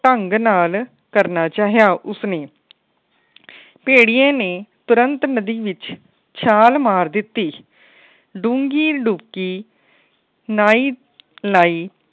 ਢੰਗ ਨਾਲ ਕਰਨਾ ਚਾਹਿਆ ਉਸ ਨੇ ਭੈਡੀਐ ਨੇ ਤੁਰੰਤ ਨਦੀ ਵਿੱਚ ਛਾਲ ਮਾਰ ਦਿੱਤੀ। ਡੂੰਗੀ ਡੁਬਕੀ ਲਾਇ ਲਾਇ